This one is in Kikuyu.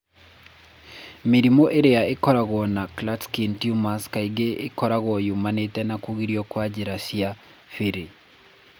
Mĩrimũ ĩrĩa ĩkoragwo na Klatskin tumors kaingĩ ĩkoragwo yumanĩte na kũgirio kwa njĩra cia bili.